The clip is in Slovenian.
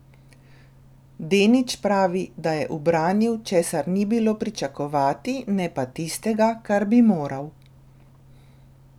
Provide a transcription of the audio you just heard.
Denič pravi, da je ubranil, česar ni bilo pričakovati, ne pa tistega, kar bi moral ...